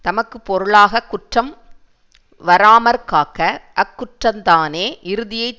தமக்கு பொருளாக குற்றம் வாராமற்காக்க அக்குற்றந்தானே இறுதியைத்